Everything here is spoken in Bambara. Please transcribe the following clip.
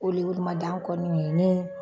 O le olu kun ma dan kɔni ye